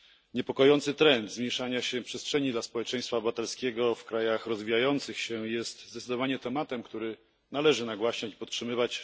Niepokojący trend zmniejszania się przestrzeni dla społeczeństwa obywatelskiego w krajach rozwijających się jest zdecydowanie tematem, który należy nagłaśniać i podtrzymywać.